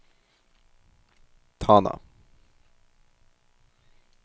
Tana